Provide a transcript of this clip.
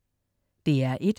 DR1: